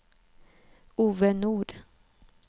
Ove Nord